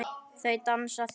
Þau dansa þétt.